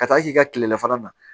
Ka taa k'i ka kilelafana na